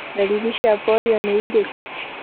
Ndariri cia polio nĩ irĩku?